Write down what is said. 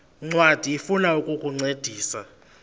ncwadi ifuna ukukuncedisa